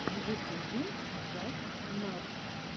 в ютубе джастнатс